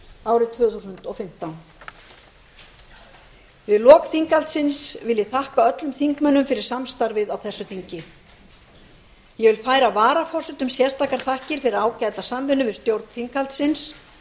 árið tvö þúsund og fimmtán við lok þinghaldsins vil ég þakka öllum þingmönnum fyrir samstarfið á þessu þingi ég færi varaforsetum sérstakar þakkir fyrir ágæta samvinnu við stjórn þinghaldsins